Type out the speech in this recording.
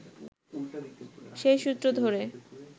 সেই সূত্র ধরে